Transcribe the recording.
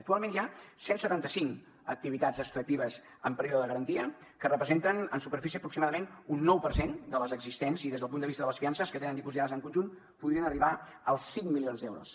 actualment hi ha cent i setanta cinc activitats extractives en període de garantia que representen en superfície aproximadament un nou per cent de les existents i des del punt de vista de les fiances que tenen dipositades en conjunt podrien arribar als cinc milions d’euros